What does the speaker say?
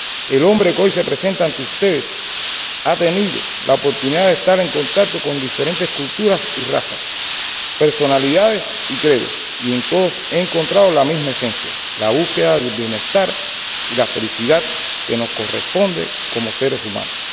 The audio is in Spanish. El hombre que hoy se presenta ante ustedes ha tenido la oportunidad de estar en contacto con diferentes culturas y razas, personalidades y credos, y en todos he encontrado la misma esencia, la búsqueda del bienestar y la felicidad que nos corresponde como seres humanos.